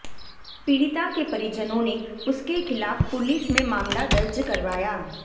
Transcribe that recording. पीडि़ता के परिजनों ने उसके खिलाफ पुलिस में मामला दर्ज करवाया